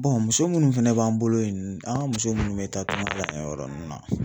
muso munnu fɛnɛ b'an bolo yen an ka muso munnu be taa tunka la yen yɔrɔ nunnu na